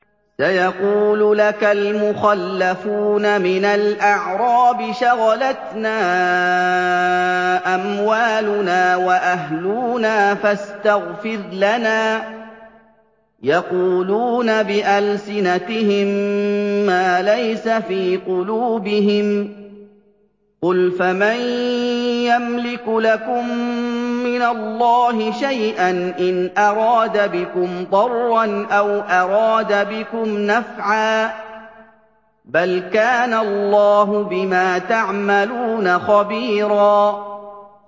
سَيَقُولُ لَكَ الْمُخَلَّفُونَ مِنَ الْأَعْرَابِ شَغَلَتْنَا أَمْوَالُنَا وَأَهْلُونَا فَاسْتَغْفِرْ لَنَا ۚ يَقُولُونَ بِأَلْسِنَتِهِم مَّا لَيْسَ فِي قُلُوبِهِمْ ۚ قُلْ فَمَن يَمْلِكُ لَكُم مِّنَ اللَّهِ شَيْئًا إِنْ أَرَادَ بِكُمْ ضَرًّا أَوْ أَرَادَ بِكُمْ نَفْعًا ۚ بَلْ كَانَ اللَّهُ بِمَا تَعْمَلُونَ خَبِيرًا